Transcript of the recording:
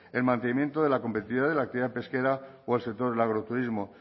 el mantenimiento de la competitividad de la actividad pesquera o el sector del agroturismo